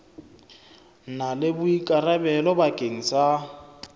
na le boikarabelo bakeng sa